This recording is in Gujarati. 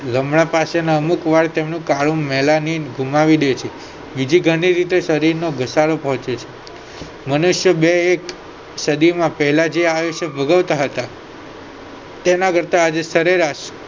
લમણા પાસેના અમુક વાળ તેમનું કાળું ગુમાવી દે છે બીજી ઘણી રીતે શરીર નો ઘટાડો પહોંચે છે મનુષ્યો બે એક સદીમાં પહેલા જે આયુષ્ય ભોગવતા હતા તેના કરતા આજે સરેરાશ